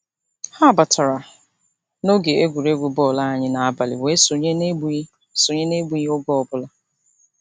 Ha batara n'oge egwuregwu bọọlụ anyị n'abalị wee sonye n'egbughị sonye n'egbughị oge ọbụla.